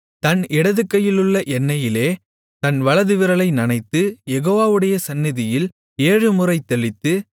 தன் இடதுகையிலுள்ள எண்ணெயிலே தன் வலதுவிரலை நனைத்து யெகோவாவுடைய சந்நிதியில் ஏழுமுறை தெளித்து